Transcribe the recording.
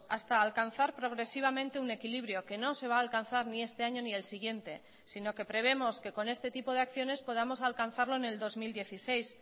hasta alcanzar progresivamente un equilibrio que no se va a alcanzar ni este año ni el siguiente sino que preveemos que con este tipo de acciones podamos alcanzarlo en el dos mil dieciséis